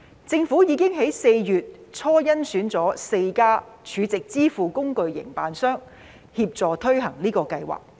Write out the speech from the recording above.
政府已於4月初甄選了4家儲值支付工具營辦商協助推行該計劃。